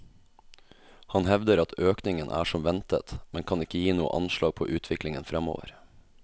Han hevder at økningen er som ventet, men kan ikke gi noe anslag på utviklingen fremover.